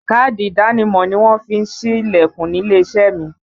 Káàdì ìdánimọ̀ ni wọ́n fi ń sí Ilẹ̀kùn nílé iṣẹ́ mi